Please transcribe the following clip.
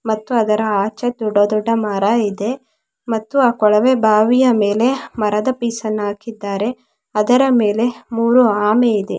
ಮತ್ತು ಅದರ ಆಚೆ ದೊಡ್ಡ ದೊಡ್ಡ ಮರ ಇದೆ ಮತ್ತು ಆ ಕೊಳವೆ ಬಾವಿಯ ಮೇಲೆ ಮರದ ಪೀಸ್ ಅನ್ನು ಹಾಕಿದ್ದಾರೆ ಅದರ ಮೇಲೆ ಮೂರೂ ಆಮೆ ಇದೆ.